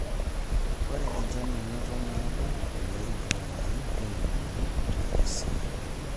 Ore enchan nanoto naado oleng too larin tomoniuni te Busia naa 22°C.